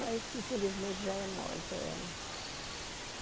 Mas, infelizmente, já é morta ela.